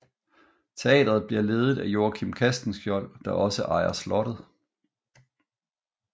Teatret bliver ledet af Joachim Castenschiold der også ejer slottet